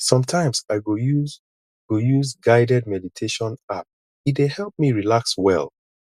sometimes i go use go use guided meditation app e dey help me relax well